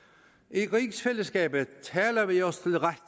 i rigsfællesskabet taler vi os